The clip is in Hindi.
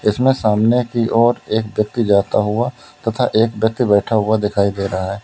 इसमें सामने की ओर एक व्यक्ति जाता हुआ तथा एक व्यक्ति बैठा हुआ दिखाई दे रहा है।